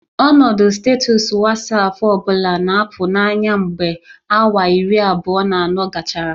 Ọnọdụ sitatụs Wasapu ọ bụla na-apụ n'anya mgbe awa iri abụọ na anọ gachara